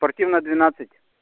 спортивная двенадцать